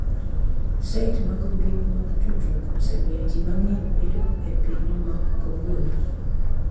Site mag mbui mag tudruok osemiyo ji mang’eny bedo e piny ma kawuono.